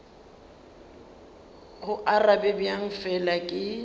go arabe bjang fela ke